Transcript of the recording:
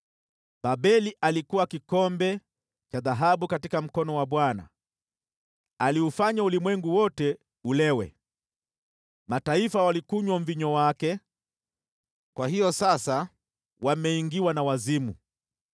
Babeli alikuwa kikombe cha dhahabu katika mkono wa Bwana ; aliufanya ulimwengu wote ulewe. Mataifa walikunywa mvinyo wake; kwa hiyo sasa wameingiwa na wazimu.